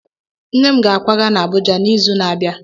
Nne m ga-akwaga n'Abụja n'izu na-abịa